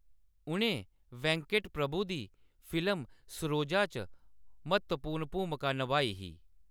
उʼनें वेंकट प्रभु दी फिल्म सरोजा च म्हत्तवपूर्ण भूमका नभाई ही।